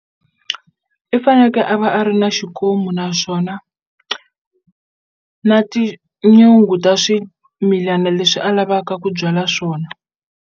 I fanekele a va a ri na xikomu naswona na tinyungu ta swimilana leswi a lavaka ku byala swona.